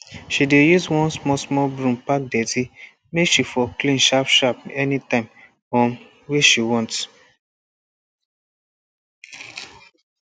she dey use one small small broom pack dirty make she for clean sharp sharp anytime um wey she want